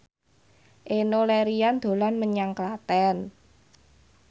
Enno Lerian dolan menyang Klaten